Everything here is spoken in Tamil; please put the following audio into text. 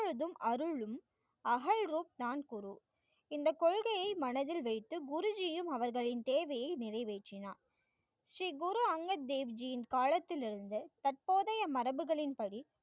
எப்பொழுதும் அருளும், அகல் ரூப் தான் குரு. இந்த கொள்கையை மனதில் வைத்து, குருஜியும் அவர்களின் தேவையை நிறைவேற்றினார். ஸ்ரீ குரு அங்கத் தேவ்ஜியின் காலத்திலிருந்து தற்போதைய மரபுகளின் படி